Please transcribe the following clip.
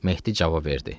Mehdi cavab verdi.